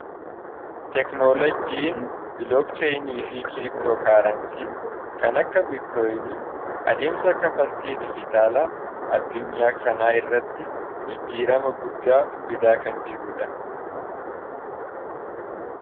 Teekinooloojiin bilookcheeyiniifi kiriiptoo kaaransii kan akka biiktooyinii adeemsa kanfaltii digitaalaa addunyaa kanaa irratti jijjiirama guddaa Fidaa kan jirudha.